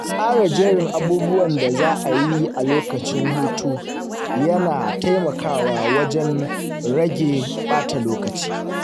Tsara jerin abubuwan da za a yi a lokacin hutu yana taimakawa wajen rage ɓata lokaci